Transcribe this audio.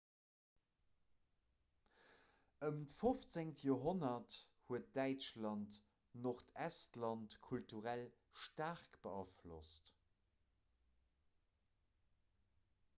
ëm d'15. joerhonnert huet däitschland nordestland kulturell staark beaflosst